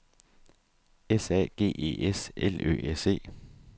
S A G E S L Ø S E